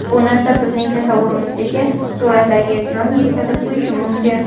Bu narsa bizning tasavvurimizdagi suratlarga ziyon yetkazib qo‘yishi mumkin.